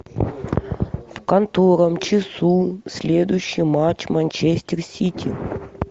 в котором часу следующий матч манчестер сити